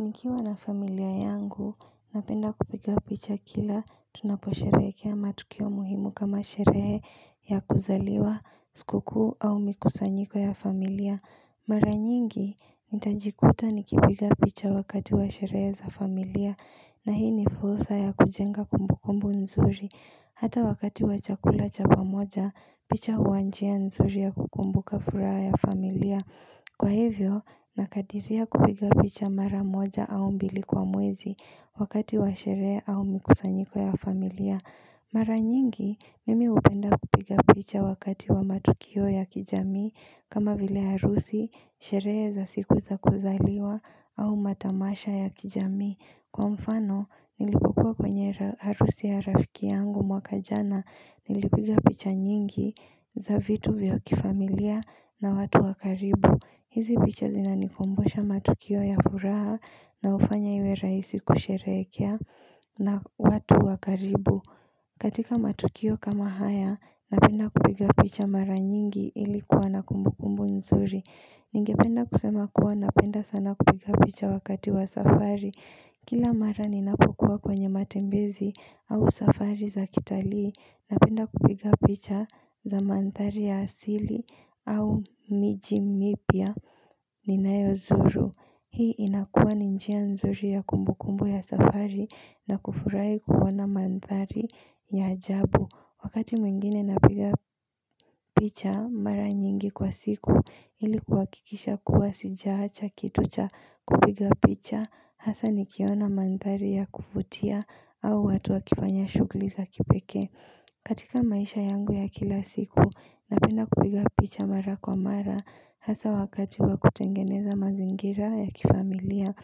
Nikiwa na familia yangu, napenda kupiga picha kila, tunaposherehekea matukio muhimu kama sherehe ya kuzaliwa, sikukuu au mikusanyiko ya familia Mara nyingi, nitajikuta nikipiga picha wakati wa sherehe za familia, na hii ni fursa ya kujenga kumbu kumbu nzuri Hata wakati wa chakula chapamoja, picha huwanjia nzuri ya kukumbuka furaha ya familia Kwa hivyo, nakadiria kupiga picha mara moja au mbili kwa mwezi wakati wa sherehe au mikusanyiko ya familia Mara nyingi, mimi hupenda kupiga picha wakati wa matukio ya kijamii kama vile harusi, sherehe za siku za kuzaliwa au matamasha ya kijamii Kwa mfano, nilipokua kwenye harusi ya rafiki yangu mwaka jana Nilipiga picha nyingi za vitu vya kifamilia na watu wakaribu hizi picha zinanikumbusha matukio ya furaha na hufanya iwe rahisi kusherehekea na watu wakaribu katika matukio kama haya napenda kupiga picha mara nyingi ilikuwa na kumbukumbu nzuri Ningependa kusema kuwa napenda sana kupiga picha wakati wa safari Kila mara ninapokua kwenye matembezi au safari za kitalii na penda kupiga picha za mandhari ya asili au miji mipya ninayo zuru. Hii inakua ninjia nzuri ya kumbu kumbu ya safari na kufurahi kuona mandhari ya ajabu. Wakati mwingine napiga picha mara nyingi kwa siku ilikuha kikisha kuwa sijaacha kitucha kupiga picha Hasa nikiona mandhari ya kuvutia au watu wakifanya shughuliza kipekee katika maisha yangu ya kila siku napenda kupiga picha mara kwa mara Hasa wakati wakutengeneza mazingira ya kifamilia